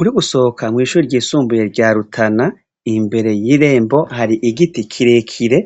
Uriko usohoka kw'ishure ryisumbuye rya rutana imbere y'irembo har'igiti kirekire,